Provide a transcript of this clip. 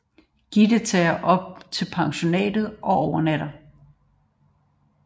Gitte tager op til pensionatet og overnatter